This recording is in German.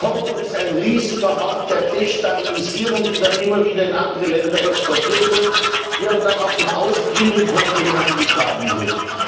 Kongo ist ein riesiger Hort der Destabilisierung, die dann immer wieder in andere Länder exportiert wird, die aber dann auch von außen in den Kongo hineingetragen wird.